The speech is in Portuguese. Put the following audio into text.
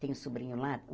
Tenho sobrinho lá.